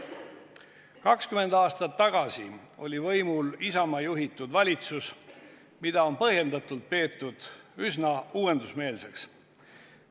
20 aastat tagasi oli võimul Isamaa juhitud valitsus, mida on põhjendatult peetud üsna uuendusmeelseks.